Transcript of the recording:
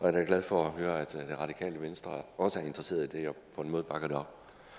er da glad for at høre at det radikale venstre også er interesseret i det og på en måde bakker det op